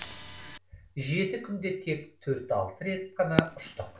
жеті күнде тек төрт алты рет қана ұштық